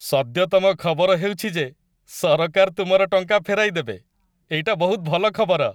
ସଦ୍ୟତମ ଖବର ହେଉଛି ଯେ ସରକାର ତୁମର ଟଙ୍କା ଫେରାଇ ଦେବେ। ଏଇଟା ବହୁତ ଭଲ ଖବର।